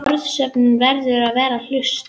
Orðasöfnunin verður að vera hlutlaus.